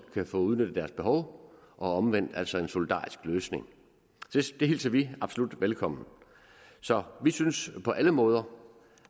kan få udnyttet deres behov og omvendt altså en solidarisk løsning det hilser vi absolut velkommen så vi synes på alle måder